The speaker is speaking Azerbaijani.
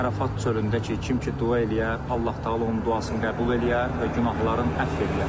Ərəfat çölündə ki, kim ki dua eləyə, Allah-Təala onun duasını qəbul eləyə və günahlarını əfv eləyə.